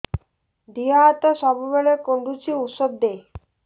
ଦିହ ହାତ ସବୁବେଳେ କୁଣ୍ଡୁଚି ଉଷ୍ଧ ଦେ